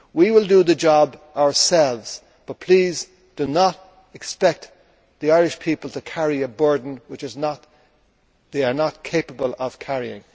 we will do the job ourselves, but please do not expect the Irish people to carry a burden that they are not capable of carrying.